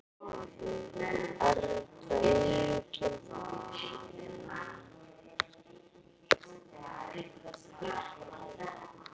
Erla: Enginn vafi?